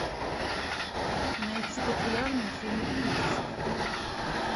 найти популярные фильмы ужасов